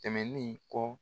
Tɛmɛnni kɔ